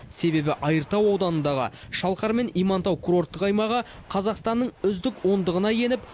себебі айыртау ауданындағы шалқар мен имантау курортық аймағы қазақстанның үздік ондығына еніп